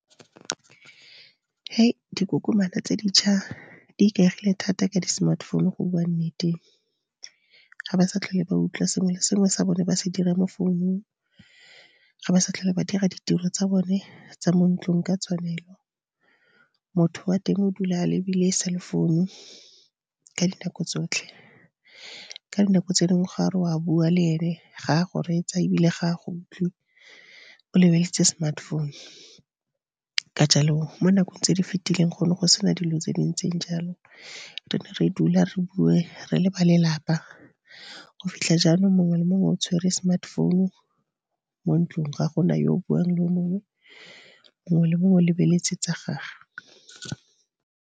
Dikokomana tse dintšha di ikaegile thata ka di smartphone go bua nnete. Ga ba sa tlhole ba utlwa sengwe le sengwe sa bone ba se dira mo founung, ga ba sa tlhole ba dira ditiro tsa bone tsa mo ntlung ka tshwanelo. Motho o a teng o dula a lebile cell founu ka dinako tsotlhe. Ka dinako tse dingwe ga o re o a bua le ene, ga a go reetsa ebile ga a go utlwe o lebeletse smartphone. Ka jalo mo nakong tse di fetileng go ne go se na dilo tse dintseng jalo, re ne re dula re bue re le ba lelapa, go fitlha jalo mongwe le mongwe o tshwere smartphone mo ntlong ga gona yo buang le o mongwe, mongwe le mongwe o lebeletse tsa gage.